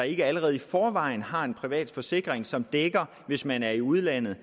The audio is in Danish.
ikke allerede i forvejen har en privat forsikring som dækker hvis man er i udlandet